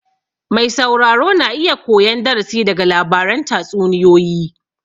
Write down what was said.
Mai sauraro na iya koyan darasi daga labaran tatsuniyoyi